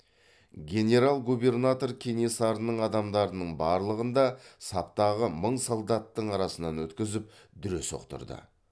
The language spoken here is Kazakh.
генерал губернатор кенесарының адамдарының барлығын да саптағы мың солдаттың арасынан өткізіп дүре соқтырды